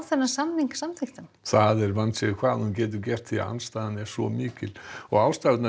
samninginn samþykktan það er vandséð hvað hún getur gert því andstaðan er svo mikil ástæðurnar